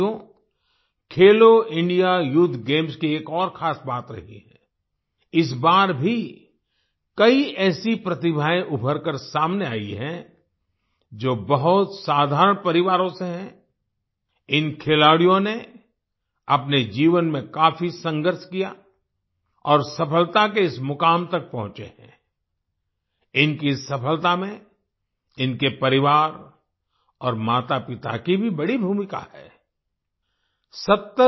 साथियो Khelo India youth games की एक और खास बात रही है आई इस बार भी कई ऐसी प्रतिभाएं उभरकर सामने आई हैं जो बहुत साधारण परिवारों से हैं आई इन खिलाड़ियों ने अपने जीवन में काफी संघर्ष किया और सफलता के इस मुकाम तक पहुंचे हैं आई इनकी सफलता में इनके परिवार और माता पिता की भी बड़ी भूमिका है आई